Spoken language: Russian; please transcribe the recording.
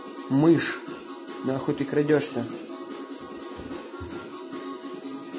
мышь крадётся